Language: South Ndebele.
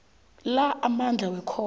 la amandla wekhotho